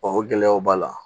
o gɛlɛyaw b'a la